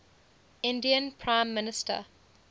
indian prime minister